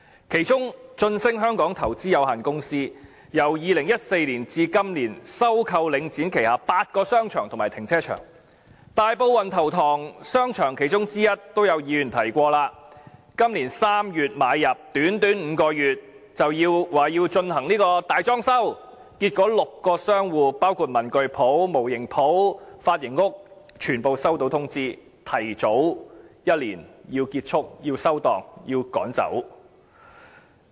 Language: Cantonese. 其中一個財團是駿昇投資有限公司，由2014年至今年，已收購領展旗下8個商場和停車場，大埔運頭塘邨商場便是其中之一，而剛才已有議員提及，今年3月買入，短短5個月便說要進行大裝修，結果6個商戶，包括文具店、模型店和髮型屋全部收到通知，須提早一年結束、關店，被趕走。